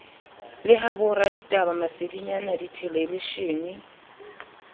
le ha boraditaba masedinyana dithelebishene